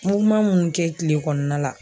minnu kɛ kile kɔnɔna la